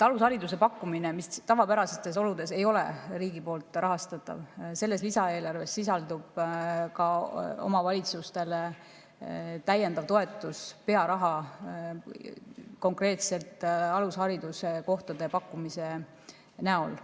Alushariduse pakkumine ei ole tavapärastes oludes riigi poolt rahastatav, aga selles lisaeelarves sisaldub ka omavalitsustele täiendav toetus, pearaha konkreetselt alushariduskohtade pakkumise näol.